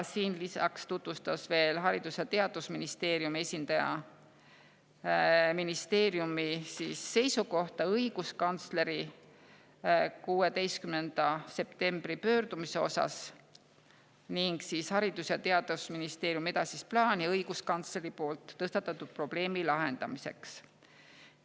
Lisaks tutvustas Haridus‑ ja Teadusministeeriumi esindaja ministeeriumi seisukohta õiguskantsleri 16. septembri pöördumise kohta ning Haridus‑ ja Teadusministeeriumi edasist plaani õiguskantsleri tõstatatud probleemi lahendamiseks.